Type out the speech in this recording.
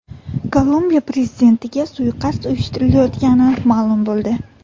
Kolumbiya prezidentiga suiqasd uyushtirilayotgani ma’lum bo‘ldi.